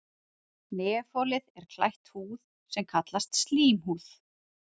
Nefholið er klætt húð er kallast slímhúð.